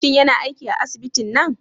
Shin yana aiki a asibitin nan?